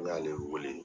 N y'ale wele